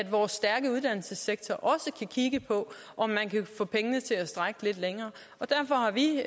vores stærke uddannelsessektor også kigge på om man kan få pengene til at strække lidt længere derfor har vi